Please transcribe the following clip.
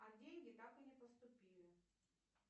а деньги так и не поступили